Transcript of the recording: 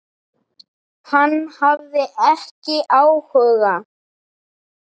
Hann hafði ekki áhuga.